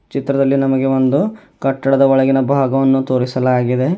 ಚಿತ್ರದಲ್ಲಿ ನಮಗೆ ಒಂದು ಕಟ್ಟಡದ ಒಳಗಿನ ಭಾಗವನ್ನು ತೋರಿಸಲಾಗಿದೆ.